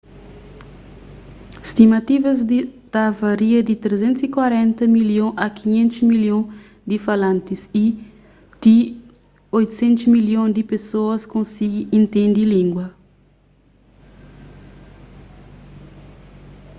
stimativas ta varia di 340 milhon a 500 milhon di falantis y ti 800 milhon di pesoas konsigi intende língua